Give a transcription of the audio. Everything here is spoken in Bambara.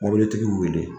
Mɔbilitigi y'u wele